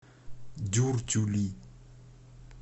дюртюли